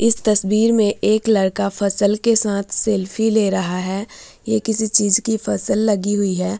इस तस्वीर में एक लड़का फसल के साथ सेल्फी ले रहा है ये किसी चीज की फसल लगी हुई है ।